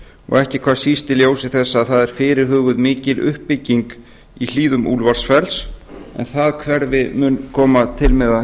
og ekki hvað síst í ljósi þess að það er fyrirhuguð mikil uppbygging í hlíðum úlfarsfells en það hverfi mun koma til með að